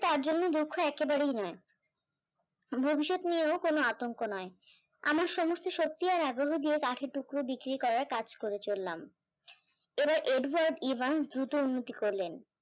তার জন্য দুখ্হ একেবারেই না, ভবিষ্যৎ নিয়েও কোনো আতঙ্ক নয় আমার সমস্ত শক্তি আর আগ্রহ দিয়ে কাঠি টুকরো বিক্রি করার কাজ করে চললাম এবার এডওয়ার্ড ইভান দ্রুত উন্নতি করলেন